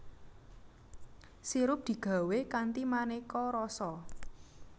Sirup digawé kanthi manéka rasa